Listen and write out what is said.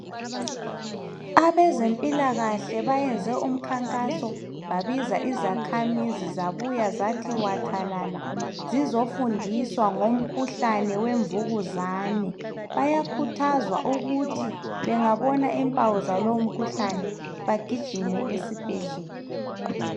Abezempilakahle bayenze umkhankaso babiza izakhamizi zabuya zathi wathalala zizofundiswa ngomkhuhlane wemvukuzane. Bayakhuthazwa ukuthi bengabona impawu zalo umkhuhlane bagijime esibhedlela.